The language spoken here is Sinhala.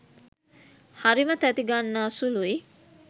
හරිම තැති ගන්නා සුළුයි.